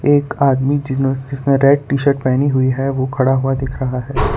एक आदमी जिनो सिसने रेड टी शर्ट पहनी हुई है वो खड़ा हुआ दिख रहा है।